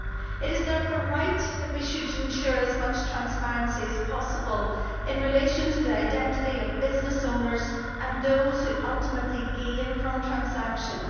It is therefore right that we should ensure as much transparency as possible in relation to the identity of business owners and those who ultimately gain from transactions.